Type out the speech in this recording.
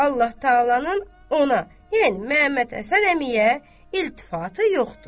Allah təalanın ona, yəni Məhəmməd Həsən əmiyə iltifatı yoxdur.